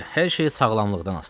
Hər şey sağlamlıqdan asılıdır.